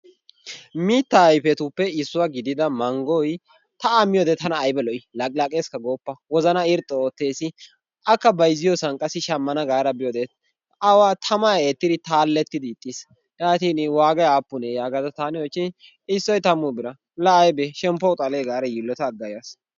Mittaa ayfetuppe issuwa gidiya manggoy ta a miyyoode tana aybba lo''i, laqqilaqqessika goopa wozanaa irxxi oottees. akka bayzziyoossan qassi shammana gaada biyoode awa tamaa eettiri taalettid ixxiis. yaatin waagay aapune gaada taani oychchoin issoy tammu bira, la aybbe shemppuwawu xalee gaada yiilota agga yaas.